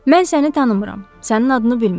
Mən səni tanımıram, sənin adını bilmirəm.